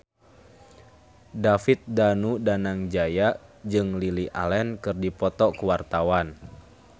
David Danu Danangjaya jeung Lily Allen keur dipoto ku wartawan